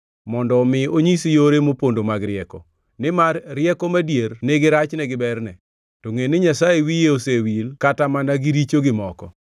mondo omi onyisi yore mopondo mag rieko, nimar rieko madier nigi rachne gi berne. To ngʼe ni Nyasaye wiye osewil kata mana gi richogi moko.